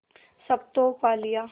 सब तो पा लिया